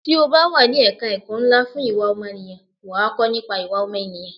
Tí o bá wà ní ẹ̀ka ẹ̀kọ́ ńlá fún ìwà ọmọnìyàn, wà á kọ́ nípa ìwà ọmọ ènìyàn.